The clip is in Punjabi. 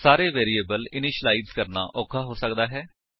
ਸਾਰੇ ਵੇਰਿਏਬਲਸ ਇਨਿਸ਼ੀਲਾਇਜ ਕਰਨਾ ਔਖਾ ਹੋ ਸਕਦਾ ਹੈ